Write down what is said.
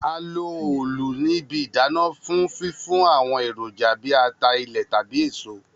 A lo òòlù ni ibi idana fun fifun awọn eroja bi ata ilẹ tabi eso.